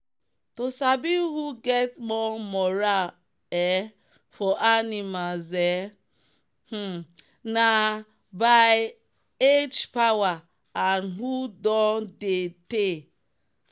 to sabi who get more moral um for animals um um na by age power and who don dey tey.